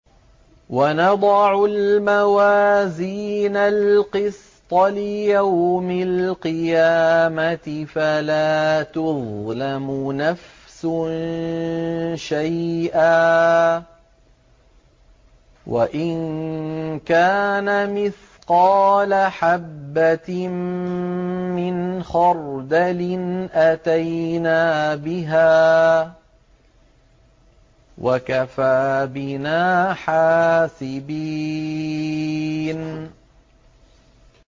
وَنَضَعُ الْمَوَازِينَ الْقِسْطَ لِيَوْمِ الْقِيَامَةِ فَلَا تُظْلَمُ نَفْسٌ شَيْئًا ۖ وَإِن كَانَ مِثْقَالَ حَبَّةٍ مِّنْ خَرْدَلٍ أَتَيْنَا بِهَا ۗ وَكَفَىٰ بِنَا حَاسِبِينَ